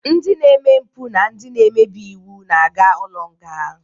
Ndị na-eme mpụ na ndị na-emebi iwu na-aga ụlọ nga.